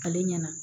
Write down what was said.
Ale ɲɛna